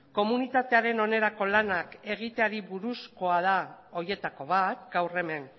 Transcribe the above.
komunitatearen onerako lanak egiteari buruzkoa da horietako bat gaur hemen